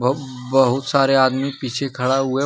बहोत सारे आदमी पीछे खड़ा हुआ--